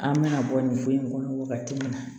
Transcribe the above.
An bɛna bɔ nin so in kɔnɔ wagati min na